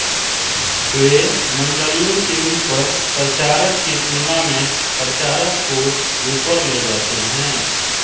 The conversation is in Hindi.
वे मंडलियों के ऊपर प्रचारक की तुलना में प्रचारक को ऊपर ले जाते हैं